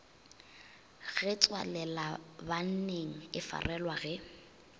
ge tswalelabanning e farelwa ge